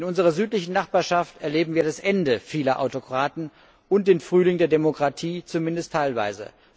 In unserer südlichen Nachbarschaft erleben wir das Ende vieler Autokraten und den Frühling der Demokratie zumindest teilweise.